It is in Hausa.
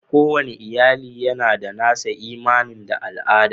Kowane iyali yana da nasa imani da al'ada.